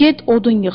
Get odun yığ.